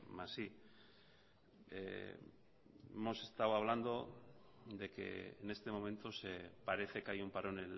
más i hemos estado hablando de que en este momento parece que hay un parón